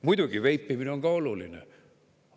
Muidugi, veipimine on ka oluline teema.